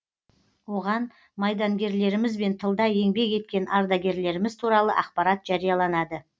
оған майдангерлеріміз бен тылда еңбек еткен ардагерлеріміз туралы ақпарат жарияланады